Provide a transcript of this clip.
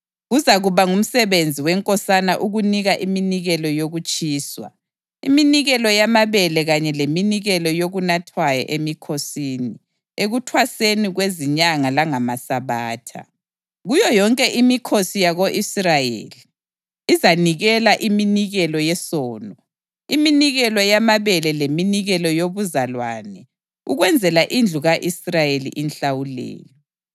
Kuzakuba ngumsebenzi wenkosana ukunika iminikelo yokutshiswa, iminikelo yamabele kanye leminikelo yokunathwayo emikhosini, ekuThwaseni kweziNyanga langamaSabatha, kuyo yonke imikhosi yako-Israyeli. Izanikela iminikelo yesono, iminikelo yamabele leminikelo yobuzalwane ukwenzela indlu ka-Israyeli inhlawulelo.